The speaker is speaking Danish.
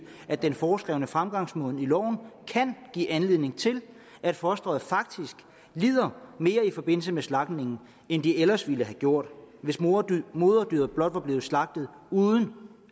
at den foreskrevne fremgangsmåde i loven kan give anledning til at fosteret faktisk lider mere i forbindelse med slagtningen end det ellers ville have gjort hvis moderdyret moderdyret blot blev slagtet uden